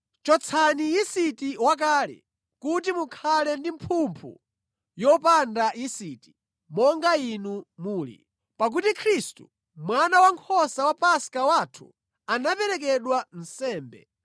Chotsani yisiti wakale kuti mukhale ndi mphumphu yopanda yisiti, monga inu muli. Pakuti Khristu, Mwana Wankhosa wa Paska wathu, anaperekedwa nsembe.